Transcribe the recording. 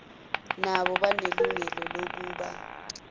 nabo banelungelo lokuba